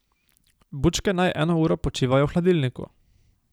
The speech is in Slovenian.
Bučke naj eno uro počivajo v hladilniku.